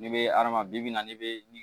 N'i bɛ hadamaden bi naani bɛ